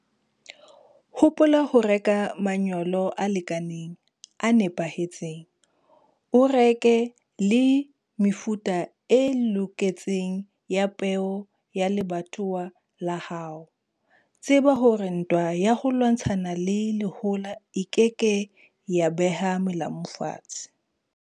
Hopola ho reka manyolo a lekaneng, a nepahetseng. O reke le mefuta e loketseng ya peo ya lebatowa la hao. Tseba hore ntwa ya ho lwantshana le lehola e ke ke ya beha melamu fatshe.